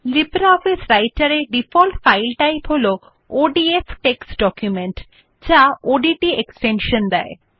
LibreOffice রাইটের মধ্যে default file type হল ওডিএফ টেক্সট ডকুমেন্ট যা ডট ওডিটি এক্সটেনশান দেয়